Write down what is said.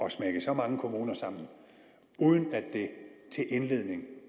at smække så mange kommuner sammen uden at det til indledning